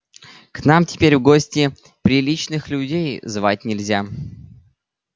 к нам теперь в гости приличных людей звать нельзя